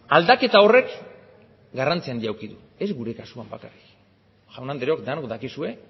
aldaketa horren garrantzi handia eduki du ez gure kasuan bakarrik jaun andreok denok dakizue